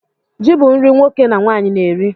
Ji bu nri nwoke na nwanyi na-eri